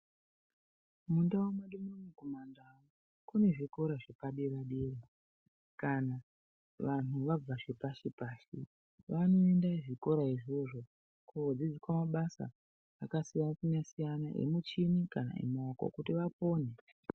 Mundau mwedu muno kumandau, kune zvikora zvepadera-dera. Kana vanhu vabva zvepashi-pashi, vanoende zvikora izvozvo kuodzidziswa mabasa akasiyana-siyana emuchini kana emaoko kuti vapone.